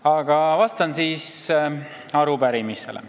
Aga vastan arupärimisele.